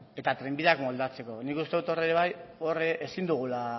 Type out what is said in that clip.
eta trenbideak moldatzeko nik uste dut hor ere bai ezin dugula